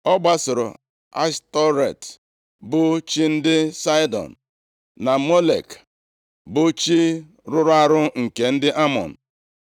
Ọ gbasoro Ashtọret, bụ chi ndị Saịdọn na Molek, + 11:5 Maọbụ, Milkọm bụ chi rụrụ arụ nke ndị Amọn.